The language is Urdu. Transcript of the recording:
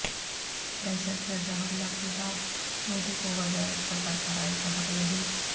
دہشت گرد حملہ کے بعد مودی کو وزارت پر برقراری کا حق نہیں